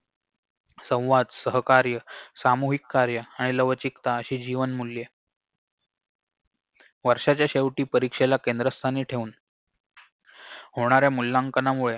संवाद सहकार्य सामूहिक कार्य आणि लवचिकता अशी जीवनमूल्ये वर्ष्याच्या शेवटी परीक्षेला केंद्रस्थानी ठेऊन होणाऱ्या मूल्यांकनामुळे